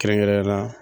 Kɛrɛnkɛrɛnnenya la